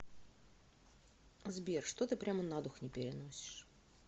сбер что ты прямо на дух не переносишь